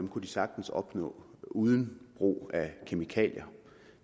kunne de sagtens opnå uden brug af kemikalier